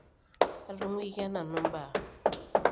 atunguikia nanu imbaa